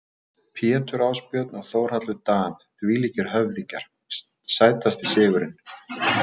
Pétur Ásbjörn og Þórhallur Dan þvílíkir höfðingjar Sætasti sigurinn?